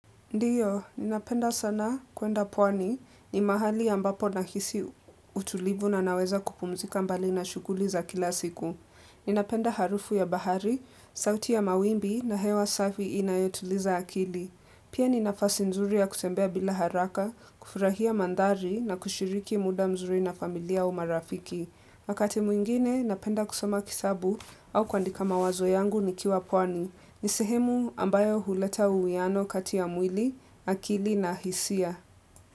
Ndiyo, ninapenda sana kwenda pwani ni mahali ambapo na hisi utulivu na naweza kupumzika mbali na shuguli za kila siku. Ninapenda harufu ya bahari, sauti ya mawimbi na hewa safi inayotuliza akili. Pia ninafasi nzuri ya kutembea bila haraka, kufurahia mandhari na kushiriki muda mzuri na familia au marafiki. Wakati mwingine, napenda kusoma kitabu au kuandika mawazo yangu nikiwa pwani. Nisehemu ambayo huleta uwiano katia mwili, akili na hisia.